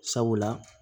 Sabula